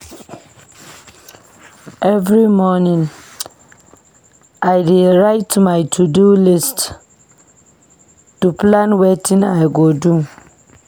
Every morning, I dey write my to-do list to plan wetin I go do.